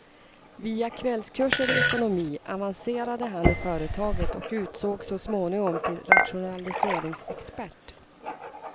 Via kvällskurser i ekonomi avanacerade han i företaget och utsågs så småningom till rationaliseringsexpert.